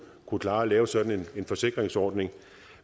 kunne klare at lave sådan en forsikringsordning